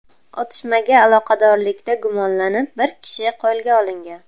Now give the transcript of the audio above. Otishmaga aloqadorlikda gumonlanib, bir kishi qo‘lga olingan.